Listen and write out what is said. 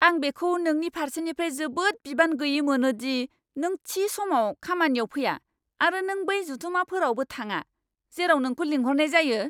आं बेखौ नोंनि फारसेनिफ्राय जोबोद बिबान गैयै मोनो दि नों थि समाव खामानियाव फैया आरो नों बै जथुमफोरावबो थाङा, जेराव नोंखौ लिंहरनाय जायो!